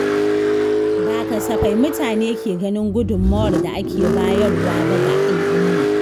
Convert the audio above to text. Ba kasafai mutane ke ganin gudunmawar da ake bayarwa ba ga alumma.